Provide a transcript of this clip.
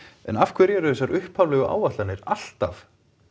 af hverju eru þessar upphaflegu áætlanir alltaf